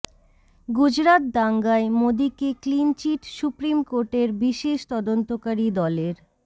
গুজরাত দাঙ্গায় মোদীকে clean chit supreme কোর্টের বিশেষ তদন্তকারী দলের